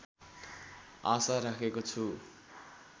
आशा राखेको छु